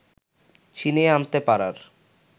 ছিনিয়ে আনতে পারার